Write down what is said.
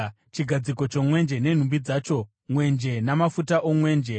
chigadziko chomwenje nenhumbi dzacho, mwenje namafuta omwenje;